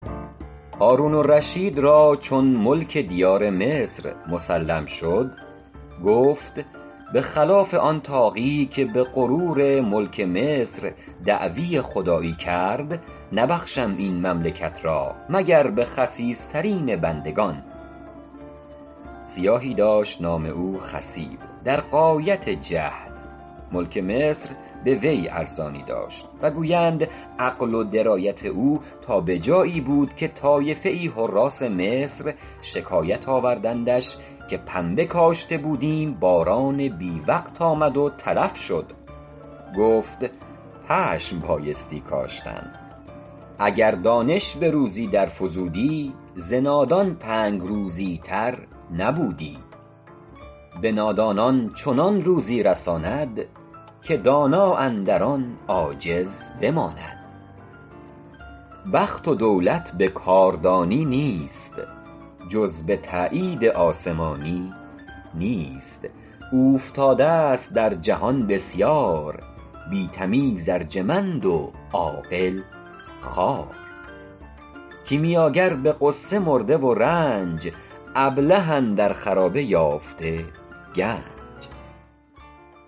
هارون الرشید را چون ملک دیار مصر مسلم شد گفت به خلاف آن طاغی که به غرور ملک مصر دعوی خدایی کرد نبخشم این مملکت را مگر به خسیس ترین بندگان سیاهی داشت نام او خصیب در غایت جهل ملک مصر به وی ارزانی داشت و گویند عقل و درایت او تا به جایی بود که طایفه ای حراث مصر شکایت آوردندش که پنبه کاشته بودیم باران بی وقت آمد و تلف شد گفت پشم بایستی کاشتن اگر دانش به روزی در فزودی ز نادان تنگ روزی تر نبودی به نادانان چنان روزی رساند که دانا اندر آن عاجز بماند بخت و دولت به کاردانی نیست جز به تأیید آسمانی نیست اوفتاده ست در جهان بسیار بی تمیز ارجمند و عاقل خوار کیمیاگر به غصه مرده و رنج ابله اندر خرابه یافته گنج